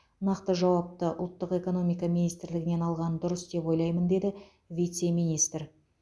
нақты жауапты ұлттық экономика министрлігінен алған дұрыс деп ойлаймын деді вице министр